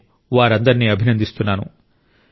నేను వారందరినీ అభినందిస్తున్నాను